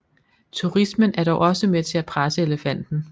Turismen er dog også med til at presse elefanten